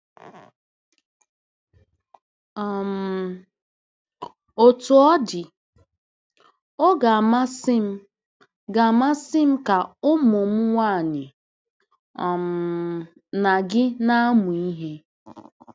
um Otú ọ dị, ọ ga-amasị m ga-amasị m ka ụmụ m nwanyị um na gị na-amụ ihe.”